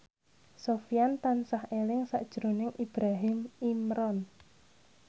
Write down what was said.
Sofyan tansah eling sakjroning Ibrahim Imran